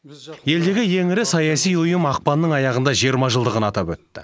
елдегі ең ірі саяси ұйым ақпанның аяғында жиырма жылдығын атап өтті